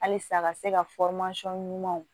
Halisa ka se ka ɲuman